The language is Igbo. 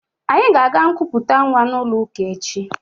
Anyị ga-aga nkuputa nwa n'ụlọụka echi